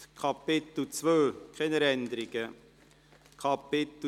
– Das ist nicht der Fall.